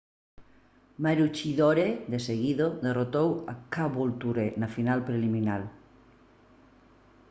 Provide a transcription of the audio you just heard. maroochydore de seguido derrotou a caboolture na final preliminar